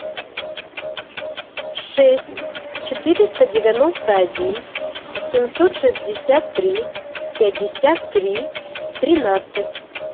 шесть четыреста девяносто один семьсот шестьдесят три пятьдесят три тринадцать